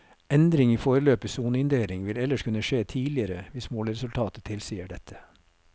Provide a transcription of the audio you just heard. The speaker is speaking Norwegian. Endring i foreløpig soneinndeling vil ellers kunne skje tidligere hvis måleresultater tilsier dette.